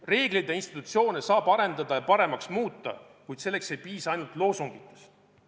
Reegleid ja institutsioone saab arendada ja paremaks muuta, kuid selleks ei piisa ainult loosungitest.